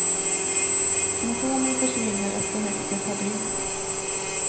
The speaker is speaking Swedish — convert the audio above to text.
Symptomen försvinner efter högst ett par dygn.